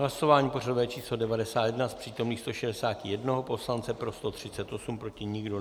Hlasování pořadové číslo 91, z přítomných 161 poslance pro 138, proti nikdo.